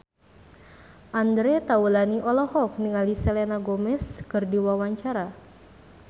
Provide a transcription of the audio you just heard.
Andre Taulany olohok ningali Selena Gomez keur diwawancara